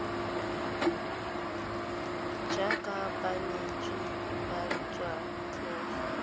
jaaka banetshi ba tsa tlhago